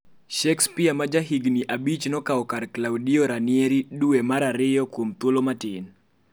Shakespeare, ma jahigni abich, nokao kar Claudio Ranieri duwe mar Ariyo kuom thuolo matin.